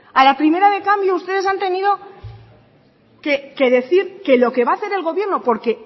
a la primera de cambio ustedes han tenido que decir que lo que va a hacer el gobierno porque